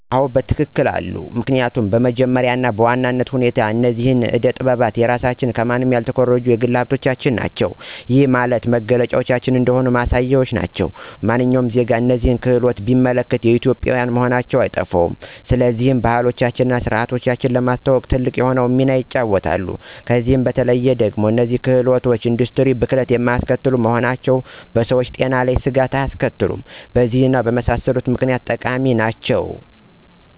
1, አዎ በትክክል አሉ፤ 2, ምክኒያቱም በመጀመሪያ እና በዋናነት ሁኔታ እነዚህ አደ ጠጥባት የራሳችን ከማንም ያልተኮረጁ የግል ሀብቶቻችን ናቸው። ይህም ማለት መገለጫዎቻችን እንደሆኑ ማሳያዎች ናቸው። ማንኛውም ዜጋ እነዚህን ክህሎቶች ቢመለከት የኢትዮጵዊያን መሆናቸው አይጠፋውም፤ ስለሆነም ባህላችንን እና ስርዓታችንን ለማስተዋወቅ ትልቅ የሆነውን ሚና ይጫወታሉ። ከዛም በተለዬ ደግሞ እነዚህ ክህሎቶች እንደ ኢንዱስትሪ ብክለትን የማያስከትሉ በመሆናቸው በሰዎች ጤና ላይ ስጋት አያስከትሉም። በእነዚህ እና በመሳሰሉት ምክኒያቶች ጠቃሚ ናቸው።